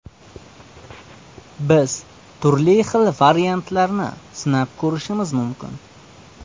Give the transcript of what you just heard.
Biz turli xil variantlarni sinab ko‘rishimiz mumkin.